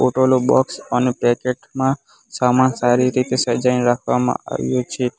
Box અને packet માં સામાન સારી રીતે સજાઈને રાખવામાં આવ્યો છે.